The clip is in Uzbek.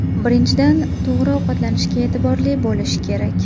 Birinchidan, to‘g‘ri ovqatlanishga e’tiborli bo‘lish kerak.